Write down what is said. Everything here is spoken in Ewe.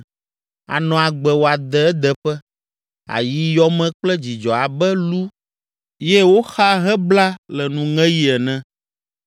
Ànɔ agbe wòade edeƒe, ayi yɔ me kple dzidzɔ abe lu ye woxa hebla le nuŋeɣi ene.